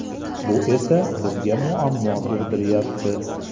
Bu esa bizga muammo tug‘diryapti.